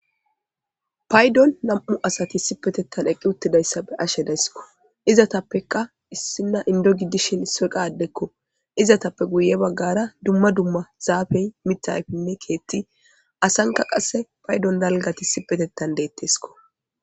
Payiddon nam'u asati issippetetan eqqi uttidayisa be'ashe dayisikko izetappeka issinya inddo giddishin issoy addeko izetappe guye bagara duma duma zaffeyi miththaynne keththi asatankka qase payoddon dalggayi issipetetan dessiko.